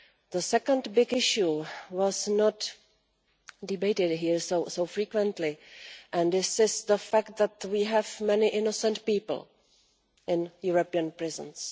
The second big issue was not debated here so frequently and this is the fact that we have many innocent people in European prisons.